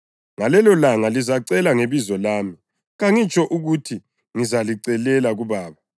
Ngalelolanga lizacela ngebizo lami. Kangitsho ukuthi ngizalicelela kuBaba.